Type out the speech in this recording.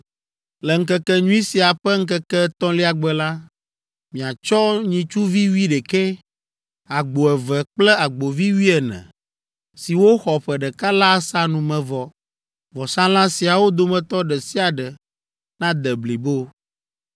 “Le Ŋkekenyui sia ƒe ŋkeke etɔ̃lia gbe la, miatsɔ nyitsuvi wuiɖekɛ, agbo eve kple agbovi wuiene, siwo xɔ ƒe ɖeka la asa numevɔ. Vɔsalã siawo dometɔ ɖe sia ɖe nade blibo.